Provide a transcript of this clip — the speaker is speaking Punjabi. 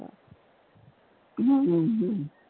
ਹਮ